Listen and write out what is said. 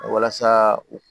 Walasa u